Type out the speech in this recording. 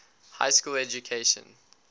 high school education